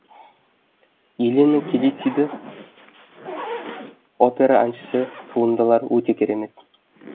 елена келисиди опера әншісі туындылар өте керемет